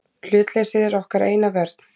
Hlutleysið er okkar eina vörn.